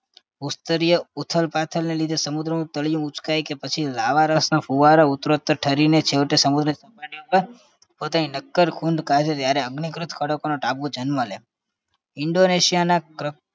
ભૂસ્તરીય ઉથલપાથલને લીધે સમુદ્રનું તળિયું ઊંચકાય કે પછી લાવારસનો ફુવારો ઉત્તરોત્તર ઠરીને છેવટે સમુદ્ર સપાટી ઉપર પોતાની નક્કર ખૂંધ કાઢે ત્યારે અગ્નિકૃત ખડકોનો ટાપુ જન્મ લે indonesia ના ક્ર